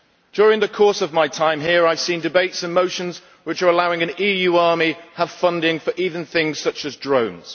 During the course of my time here, I have seen debates and motions which are allowing an EU army to have funding for even things such as drones.